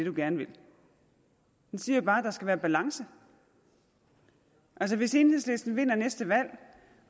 man gerne vil den siger bare at der skal være balance altså hvis enhedslisten vinder næste valg